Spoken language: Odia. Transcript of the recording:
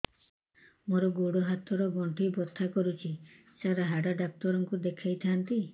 ମୋର ଗୋଡ ହାତ ର ଗଣ୍ଠି ବଥା କରୁଛି ସାର ହାଡ଼ ଡାକ୍ତର ଙ୍କୁ ଦେଖାଇ ଥାନ୍ତି